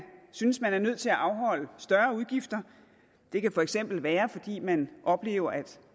synes man er nødt til at afholde større udgifter det kan for eksempel være fordi man oplever at